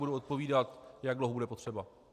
Budu odpovídat, jak dlouho bude potřeba.